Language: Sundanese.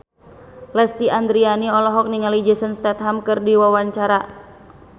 Lesti Andryani olohok ningali Jason Statham keur diwawancara